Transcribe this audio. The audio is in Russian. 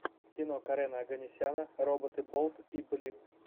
кино карена оганесяна роботы болт и блип